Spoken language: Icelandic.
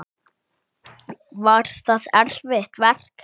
Var það erfitt verk?